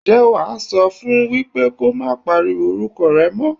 Ǹjẹ́ wá á sọ fún wípé kó má pariwo orúkọ rẹ mọ́.